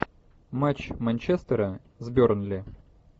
матч манчестера с бернли